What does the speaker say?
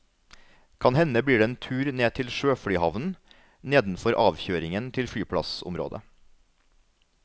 Kan hende blir det en tur ned til sjøflyhavnen, nedenfor avkjøringen til flyplassområdet.